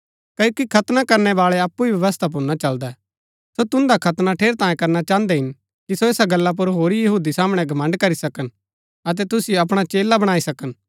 क्ओकि खतना करनै बाळै अप्पु ही व्यवस्था पुर ना चलदै सो तुन्दा खतना ठेरैतांये करना चाहन्दै हिन कि सो ऐसा गल्ला पुर होरी यहूदी सामणै घमण्ड़ करी सकन अतै तुसिओ अपणा चेला बणाई सकन